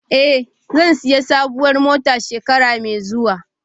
Eh, zan sayi sabuwar mota shekara mai zuwa